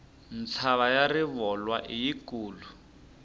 mtshava ya rivolwa i yi kulu